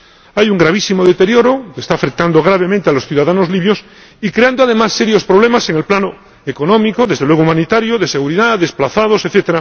Hay un gravísimo deterioro que está afectando gravemente a los ciudadanos libios y creando, además, serios problemas en el plano económico y desde luego en el humanitario, de seguridad, desplazados, etc.,